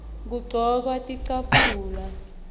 kugcokwa tincabule